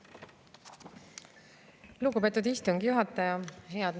Lugupeetud istungi juhataja!